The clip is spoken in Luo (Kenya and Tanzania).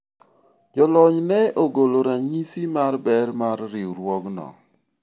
jolony ne ogolo ranyisi mar ber mar riwruogno